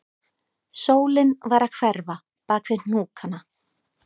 Sólin var að hverfa bak við hnúkana